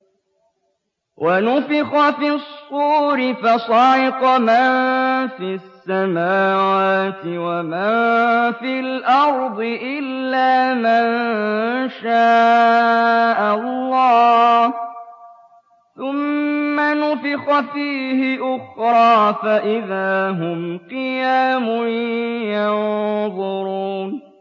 وَنُفِخَ فِي الصُّورِ فَصَعِقَ مَن فِي السَّمَاوَاتِ وَمَن فِي الْأَرْضِ إِلَّا مَن شَاءَ اللَّهُ ۖ ثُمَّ نُفِخَ فِيهِ أُخْرَىٰ فَإِذَا هُمْ قِيَامٌ يَنظُرُونَ